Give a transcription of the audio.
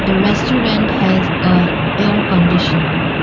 the restaurant has a air conditioner.